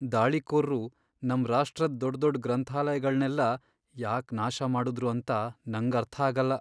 ದಾಳಿಕೋರ್ರು ನಮ್ ರಾಷ್ಟ್ರದ್ ದೊಡ್ದೊಡ್ ಗ್ರಂಥಾಲಯಗಳ್ನೆಲ್ಲ ಯಾಕ್ ನಾಶ ಮಾಡುದ್ರು ಅಂತ ನಂಗರ್ಥಾಗಲ್ಲ.